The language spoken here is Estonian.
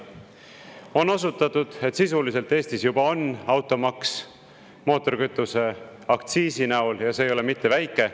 On osutatud, et sisuliselt Eestis juba on automaks mootorikütuse aktsiisi näol, ja see ei ole mitte väike.